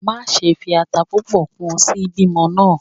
Maṣe fi ata pupọ kun si bimo naa!